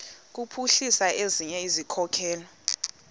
kuphuhlisa ezinye izikhokelo